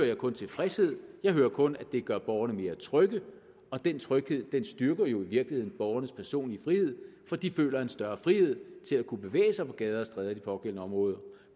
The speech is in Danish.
jeg kun tilfredshed jeg hører kun at det gør borgerne mere trygge og den tryghed styrker jo i virkeligheden borgernes personlige frihed fordi de føler en større frihed til at kunne bevæge sig på gader og stræder i de pågældende områder